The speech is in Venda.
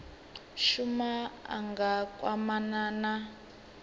shuma a nga kwamana na